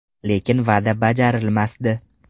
Lekin va’da bajarilmasdi.